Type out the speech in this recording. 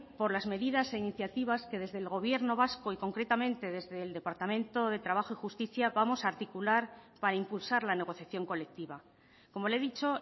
por las medidas e iniciativas que desde el gobierno vasco y concretamente desde el departamento de trabajo y justicia vamos a articular para impulsar la negociación colectiva como le he dicho